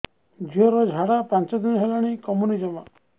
ଝିଅର ଝାଡା ପାଞ୍ଚ ଦିନ ହେଲାଣି କମୁନି ଜମା